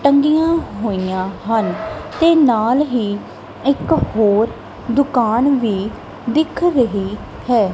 ਟੰਗੀਆਂ ਹੋਈਆਂ ਹਨ ਤੇ ਨਾਲ ਹੀ ਇੱਕ ਹੋਰ ਦੁਕਾਨ ਵੀ ਦਿਖ ਰਹੀ ਹੈ।